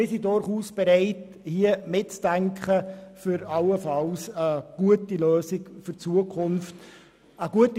Wir sind aber bereit, in dieser Sache mitzudenken und allenfalls eine gute Lösung für die Zukunft zu finden.